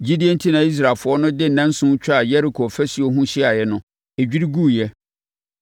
Gyidie enti na Israelfoɔ de nnanson twaa Yeriko afasuo ho hyiaeɛ no, ɛdwiri guiɛ.